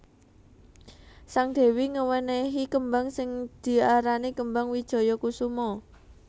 Sang Dewi ngewenehi kembang sing diarani kembang Wijaya Kusuma